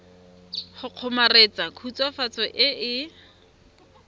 go kgomaretsa khutswafatso e e